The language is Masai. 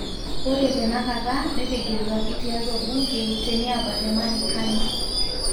Ore tenakata netegeluaki tiatua bunge teniaba te marekani.